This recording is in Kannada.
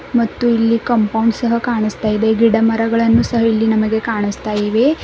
ಮತ್ತು ಇಲ್ಲಿ ಕಾಂಪೌಂಡ್ ಸಹ ಕಾಣಸ್ತಾ ಇದೆ ಗಿಡ ಮರಗಳನ್ನು ಸಹ ಇಲ್ಲಿ ನಮಗೆ ಕಾಣಸ್ತಾ ಇವೆ.